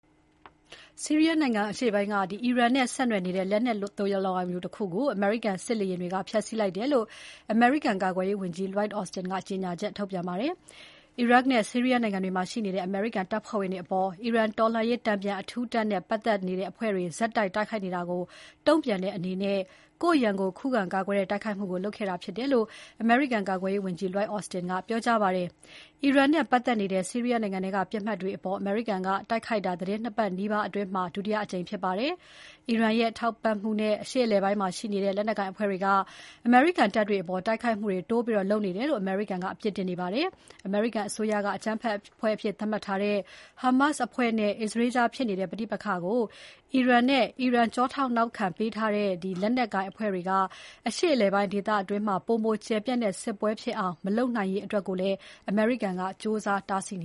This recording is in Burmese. ဆီးရီးယားနိုင်ငံအရှေ့ပိုင်းက အီရန်နဲ့ဆက်နွယ်နေတဲ့ လက်နက်သိုလှောင်ရုံတခုကို အမေရိကန်စစ်လေယာဉ်တွေက ဖျက်ဆီးလိုက်တယ်လို့ အမေရိကန်ကာကွယ်ရေးဝန်ကြီး Lloyd Austin က ပြောကြားလိုက်ပါတယ်။ အီရတ်နဲ့ ဆီးရီးယားနိုင်ငံတွေမှာရှိနေတဲ့ အမေရိကန်တပ်ဖွဲ့ဝင်တွေအပေါ် အီရန်တော်လှန်ရေးတန်ပြန် အထူးတပ်နဲ့ ပါတ်သက်တဲ့အဖွဲ့တွေ ဆက်တိုက် တိုက်ခိုက်နေတာကို တုံ့ပြန်တဲ့အနေနဲ့ ကိုယ့်ရန်ကို ခုခံကာကွယ်တဲ့တိုက်ခိုက်မှုကို လုပ်ခဲ့တာဖြစ်တယ်လို့ အမေရိကန်ကာကွယ်ရေးဝန်ကြီး Lloyd Austin က ကြေညာချက်ထုတ်ပြန်ပါတယ်။ အီရန်နဲ့ပတ်သက်နေတဲ့ ဆီရီးယားနိုင်ငံထဲက ပစ်မှတ်တွေအပေါ် အမေရိကန်က တိုက်ခိုက်တာ သီတင်း ၂ ပတ်နီးပါးအတွင်းမှာ ဒုတိယအကြိမ်ဖြစ်ပါတယ်။ အီရန်ရဲ့ ထောက်ပံ့မှုနဲ့ အရှေ့အလယ်ပိုင်းမှာရှိတဲ့ လက်နက်ကိုင်အဖွဲ့တွေက အမေရိကန်တပ်တွေအပေါ် တိုက်ခိုက်မှုတွေ တိုးလုပ်နေတယ်လို့ အမေရိကန်က အပြစ်တင်နေပါတယ်။ အမေရိကန်အစိုးရက အကြမ်းဖက်အဖွဲ့အဖြစ်သတ်မှတ်ထားတဲ့ ဟာမတ်စ်အဖွဲ့နဲ့ အစ္စရေးကြားဖြစ်နေတဲ့ ပဋိပက္ခကို အီရန်နဲ့ အီရန်ထောက်ပံ့ထားတဲ့လက်နက်ကိုင်အဖွဲ့တွေက အရှေ့အလယ်ပိုင်းဒေသတွင်း ပိုမိုကျယ်ပြန့်တဲ့ စစ်ပွဲဖြစ်အောင် မလုပ်နိုင်ရေးအတွက်ကိုလည်း အမေရိကန်က ကြိုးစားတားဆီးန